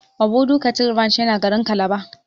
Obudu cattle ranch yana garin calabar.